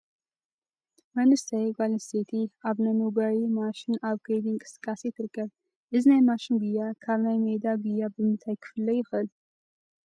መንእሰይ ጓልኣነስተይቲ ኣብ ናይ መጉየዪ ማሸን ኣብ ከይዲ እንቅስቃሴ ትርከብ፡፡ እዚ ናይ ማሽን ጉያ ካብ ናይ ሜዳ ጉያ ብምንታይ ክፍለ ይኽእል?